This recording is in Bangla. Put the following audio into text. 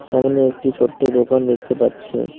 সামনে একটি ছোট্ট দোকান দেখতে পাচ্ছি।